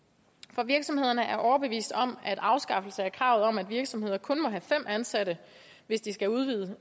for virksomhederne er overbevist om at en afskaffelse af kravet om at virksomheder kun må have fem ansatte hvis de skal udvide